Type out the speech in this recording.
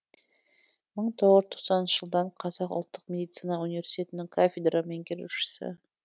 мың тоғыз жүз тоқсаныншы жылдан қазақ ұлттық медицина университетінің кафедра меңгерушісі